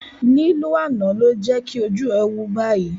Lílù àná ló jẹ́kí ojú ẹ̀ wú báyìí